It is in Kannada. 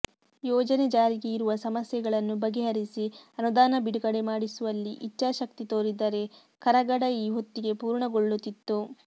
ಯೋಜನೆ ಜಾರಿಗೆ ಇರುವ ಸಮಸ್ಯೆಗಳನ್ನು ಬಗೆಹರಿಸಿ ಅನುದಾನ ಬಿಡುಗಡೆ ಮಾಡಿಸುವಲ್ಲಿ ಇಚ್ಛಾಶಕ್ತಿ ತೋರಿದ್ದರೆ ಕರಗಡ ಈ ಹೊತ್ತಿಗೆ ಪೂರ್ಣಗೊಳ್ಳುತ್ತಿತ್ತು